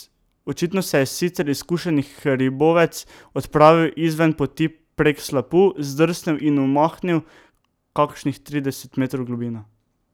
Očitno se je sicer izkušeni hribovec odpravil izven poti prek slapu, zdrsnil in omahnil kakšnih trideset metrov v globino.